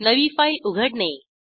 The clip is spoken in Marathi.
नवी फाईल उघडणे